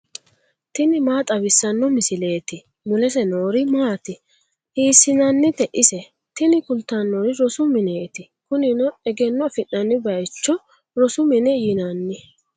tini maa xawissanno misileeti ? mulese noori maati ? hiissinannite ise ? tini kultannori rosu mineeti. kunino egenno afi'nanni bayiicho rosu mine yinanni.